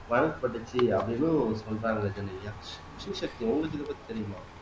வழங்கப்பட்டுச்சு அப்படின்னும் சொல்றாங்க ஜெனிலியா ஸ்ரீசக்தி உங்களுக்கு இதப்பத்தி தெரியுமா